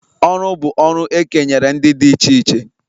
Ọrụ bụ ọrụ e kenyere ndị dị iche iche